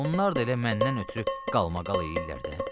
Onlar da elə məndən ötrü qalmaqal eləyirlər də.